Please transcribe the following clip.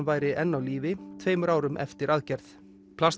væri enn á lífi tveimur árum eftir aðgerð